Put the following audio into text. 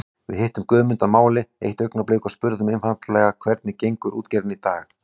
Við hittum Guðmund að máli eitt augnablik og spurðum einfaldlega hvernig gengur útgerðin í dag?